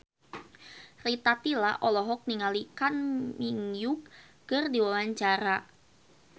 Rita Tila olohok ningali Kang Min Hyuk keur diwawancara